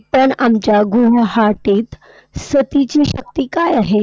पण आमच्या गुवाहाटीत, सतीची शक्ती काय आहे?